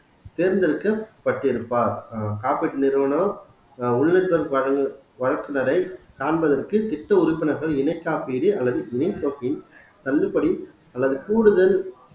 தேர்ந்தெடுக்கபட்டிருப்பார் ஆஹ் காப்பீட்டு நிறுவனம் ஆஹ் வழக்கினரை காண்பதற்கு திட்ட உறுப்பினர்கள் இணை காப்பீடு அல்லது தள்ளுபடி அல்லது கூடுதல்